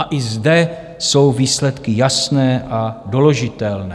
A i zde jsou výsledky jasné a doložitelné.